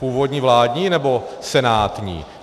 Původní vládní, nebo senátní?